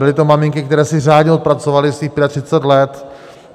Byly to maminky, které si řádně odpracovaly svých 35 let.